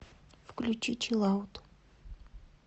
включи чилаут